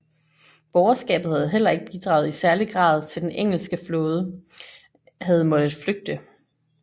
Borgerskabet havde heller ikke bidraget i særlig grad til at den engelske flåde havde måttet flygte